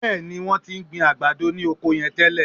Bẹ́ẹ̀ ni, wọ́n ti ń gbin àgbàdo ní oko yẹn tẹ́lẹ̀